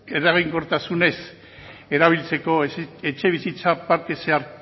eraginkortasunez erabiltzeko etxebizitza parte